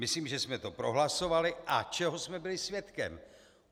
Myslím, že jsme to prohlasovali - a čeho jsme byli svědky?